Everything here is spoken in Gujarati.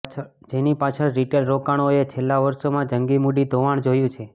જેની પાછળ રિટેલ રોકાણકારોએ છેલ્લાં વર્ષોમાં જંગી મૂડી ધોવાણ જોયું છે